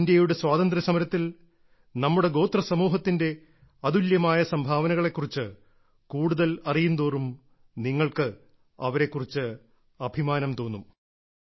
ഇന്ത്യയുടെ സ്വാതന്ത്ര്യസമരത്തിൽ നമ്മുടെ ഗോത്രസമൂഹത്തിന്റെ അതുല്യമായ സംഭാവനകളെക്കുറിച്ച് കൂടുതൽ അറിയുന്തോറും നിങ്ങൾക്ക് അവരെ കുറിച്ച് അഭിമാനം തോന്നും